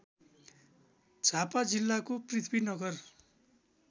झापा जिल्लाको पृथ्वीनगर